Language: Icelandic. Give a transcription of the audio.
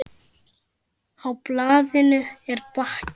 Á blaðinu er bakki.